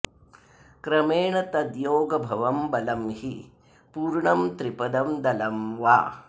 क्रमेण तद्योगभवं बलं हि पूर्ण त्रिपदं दलं वा